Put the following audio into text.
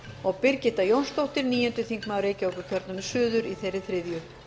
og birgitta jónsdóttir níundi þingmaður reykjavíkurkjördæmis suður í þeirri þriðju